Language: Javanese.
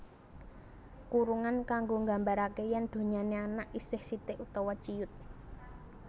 Kurungan kanggo nggambaraké yén donyané anak isih sithik utawa ciut